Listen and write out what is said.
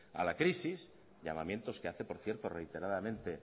a la crisis llamamientos que hace por cierto reiteradamente